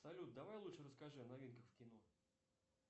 салют давай лучше расскажи о новинках в кино